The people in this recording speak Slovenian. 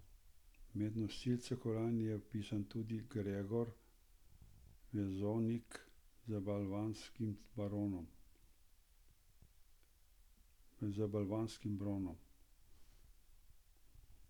Med nosilce kolajn se je vpisal tudi Gregor Vezonik z balvanskim bronom.